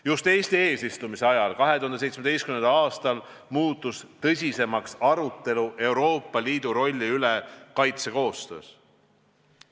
Just Eesti eesistumise ajal 2017. aastal muutus tõsisemaks arutelu Euroopa Liidu rolli üle kaitsekoostöös.